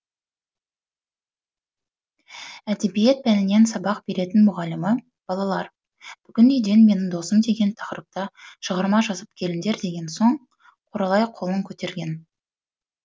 әдебиет пәнінен сабақ беретін мұғалімі балалар бүгін үйден менің досым деген тақырыпта шығарма жазып келіңдер деген соң құралай қолын көтерген